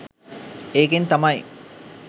ඒකෙන් තමයි